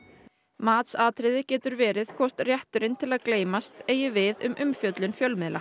matsatriði getur verið hvort rétturinn til að gleymast eigi við um umfjöllun fjölmiðla